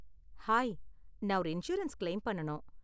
Hi, நான் ஒரு insurance claim பண்ணனும்.